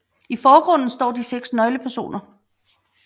I forgrunden står de seks nøglepersoner